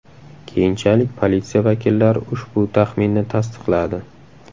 Keyinchalik politsiya vakillari ushbu taxminni tasdiqladi.